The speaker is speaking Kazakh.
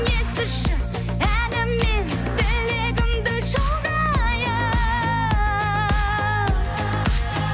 естіші әніммен тілегімді жолдайын